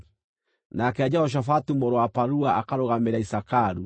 nake Jehoshafatu mũrũ wa Parua akarũgamĩrĩra Isakaru;